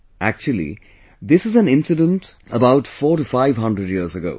Actually, this is an incident about four to five hundred years ago